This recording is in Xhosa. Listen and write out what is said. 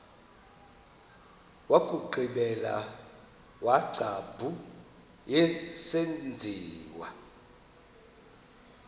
wokugqibela wengcambu yesenziwa